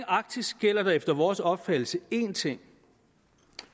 arktis gælder der efter vores opfattelse én ting